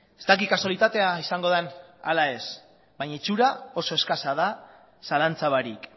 ez dakit kasualitatea izango den ala ez baina itxura oso eskasa da zalantza barik